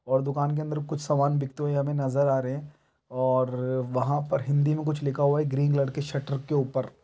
और दुकान के अंदर कुछ सामान बिकते हुए हमें नजर आ रहे हैं और वहाँ पर हिंदी में कुछ लिखा हुआ है ग्रीन कलर के शटर के ऊपर।